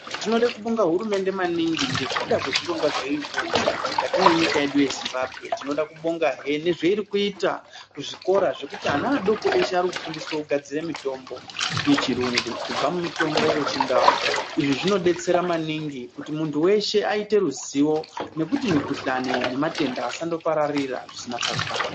Tinode kubonga hurumende maningi ngekuda kwezvirongwa zveirikuunza mukati mwenyika yedu yeZimbabwe. Tinoda kubongahe nezveirikuita kuzvikora zvekuti ana adoko eshe arikufundiswe kugadzire mitombo yechirungu kubva mumutombo yechindau izvi zvinodetsera maningi kuti muntu weshe aite ruzivo nekuti mikhuhlani nematenda asandopararira zvisina tsarukano.